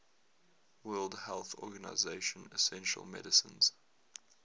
world health organization essential medicines